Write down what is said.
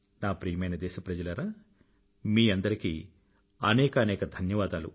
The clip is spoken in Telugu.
నా ప్రియమైన దేశప్రజలారా మీ అందరికీ అనేకానేక ధన్యవాదాలు